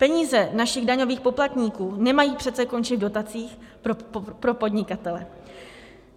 Peníze našich daňových poplatníků nemají přece končit v dotacích pro podnikatele.